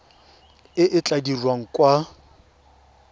e e tla dirwang kwa